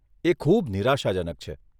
એ ખૂબ નિરાશાજનક છે.